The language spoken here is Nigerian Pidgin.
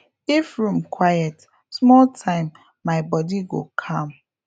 if room quiet small time my body go calm